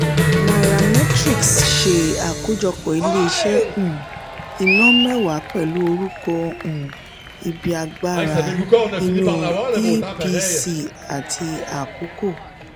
nairametrics ṣe àkójọpọ̀ ilé-iṣẹ́ um iná mẹ́wàá pẹlu orúkọ um ibi agbára iru epc àti akoko.